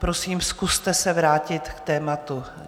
Prosím, zkuste se vrátit k tématu.